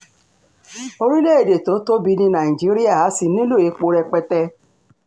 orílẹ̀‐èdè tó tóbi ní nàìjíríà a sì nílò epo rẹpẹtẹ